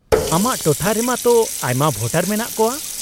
-ᱟᱢᱟᱜ ᱴᱚᱴᱷᱟ ᱨᱮᱢᱟᱜ ᱛᱚ ᱟᱭᱢᱟ ᱵᱷᱳᱴᱟᱨ ᱢᱮᱱᱟᱜ ᱠᱚᱣᱟ ᱾